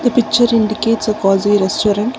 picture indicates a cosy restaurant.